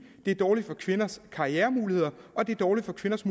det er dårligt for kvinders karrieremuligheder og det er dårligt for kvinders